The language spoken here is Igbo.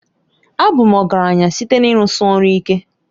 Abụ m ọgaranya site na ịrụsi ọrụ ike.